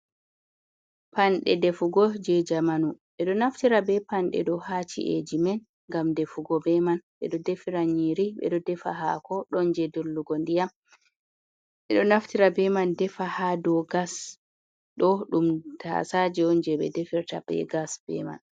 Panɗe defugo je jamanu, ɓeɗo naftira be panɗe ɗo haci’eji men gam defugo be man beɗo defira nyiri ɓeɗo ɗefa hako, ɗon je dollugo ndiyam, beɗo naftira be man defa ha do gas, ɗo ɗum tasaje on je ɓe defirta be gas be man.